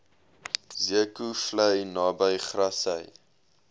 zeekoevlei naby grassy